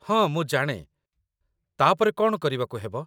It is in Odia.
ହଁ ମୁଁ ଜାଣେ। ତା' ପରେ କଣ କରିବାକୁ ହେବ ?